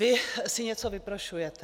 Vy si něco vyprošujete.